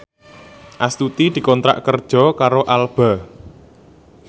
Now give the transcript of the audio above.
Astuti dikontrak kerja karo Alba